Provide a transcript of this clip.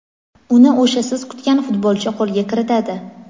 uni o‘sha siz kutgan futbolchi qo‘lga kiritadi;.